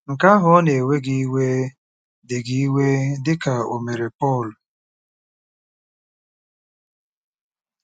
Nke ahụ ọ̀ na-ewe gị iwe dị gị iwe dị ka o mere Pọl?